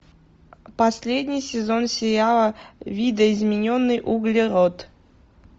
последний сезон сериала видоизмененный углерод